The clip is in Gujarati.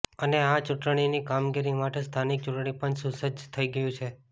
અને આ ચુંટણીની કામગીરી માટે સ્થાનિક ચુંટણીપંચ સુસજ્જ થઈ ગયુ છે